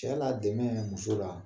Cɛ la dɛmɛ muso la